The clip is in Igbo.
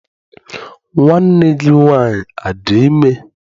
Nwanne gị nwaanyị adị ime?